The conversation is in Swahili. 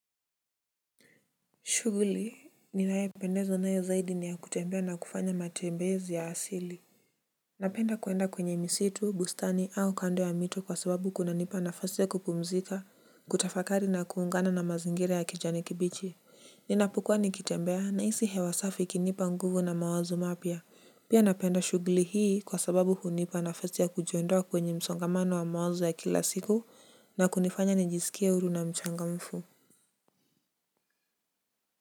Shuguli ninayopendezwa nayo zaidi ni ya kutembea na kufanya matembezi ya asili. Napenda kuenda kwenye misitu bustani au kando ya mito kwa sababu kunanipa nafasi ya kupumzika kutafakari na kuungana na mazingira ya kijani kibichi. Ninapukuwa nikitembea nahisi hewa safi ikinipa nguvu na mawazo mapya pia napenda shuguli hii kwa sababu hunipa nafasi ya kujiondoa kwenye msongamano wa mawazo ya kila siku na kunifanya nijisikie huru na mchangamfu.